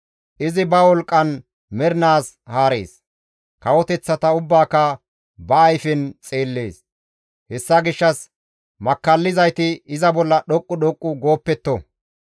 Izi ba wolqqan mernaas haarees. Kawoteththata ubbaaka ba ayfen xeellees; hessa gishshas makkallizayti iza bolla dhoqqu dhoqqu gooppetto.